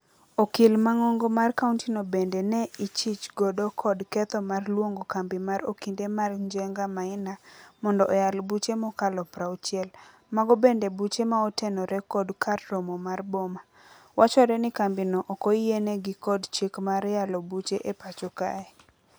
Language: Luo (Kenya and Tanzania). Okil mang'ong'o mar kaunti no bende ne ichich godo kod ketho mar luongo kambi mar okinde mar Njenga Maina mondo oyal buche mokalo prauchiel. Mago bende buche maotenore kod kar romo mar boma. Wachore ni kambi no okoyiene gi kod chik mar yalo buche e pacho kae.